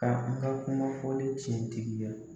Ka n ka kumafɔlen tiɲɛtigiya.